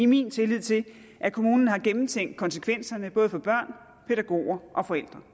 min tillid til at kommunen har gennemtænkt konsekvenserne både for børn pædagoger og forældre